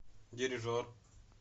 дирижер